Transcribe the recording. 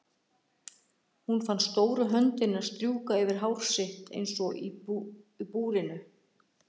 Hún fann stóru höndina hans strjúka yfir hár sitt eins og í búrinu.